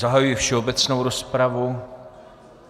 Zahajuji všeobecnou rozpravu.